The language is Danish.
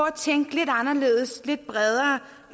er tænkt lidt anderledes